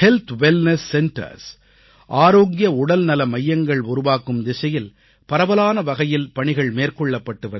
சுகாதார உடல்நல மையங்கள் உருவாக்கும் திசையில் பரவலான வகையில் பணிகள் மேற்கொள்ளப்பட்டு வருகின்றன